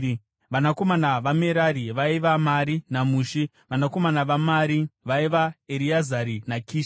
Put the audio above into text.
Vanakomana vaMerari, vaiva: Mari naMushi. Vanakomana vaMari vaiva: Ereazari naKishi.